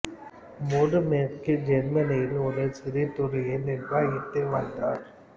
Moore மேற்கு ஜெர்மனியில் ஒரு சிறு துறையை நிர்வகித்து வந்தார்